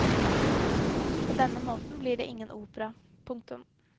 På den måten blir det ingen opera. punktum